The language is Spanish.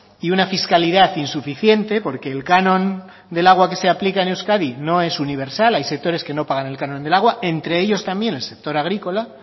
y una fiscalidad insuficiente porque el canon del agua que se aplica en euskadi no es universal hay sectores que no pagan el canon del agua entre ellos también el sector agrícola